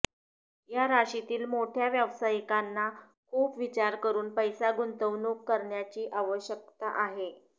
या राशीतील मोठय़ा व्यावसायिकांना खूप विचार करून पैसा गुंतवणूक करण्याची आवश्यकता आहे